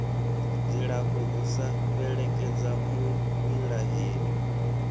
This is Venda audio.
dzilafho u sa fhelekedza muvhilaheli